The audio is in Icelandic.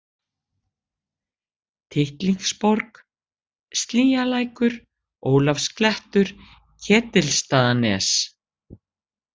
Tittlingsborg, Slíalækur, Ólafsklettur, Ketilsstaðanes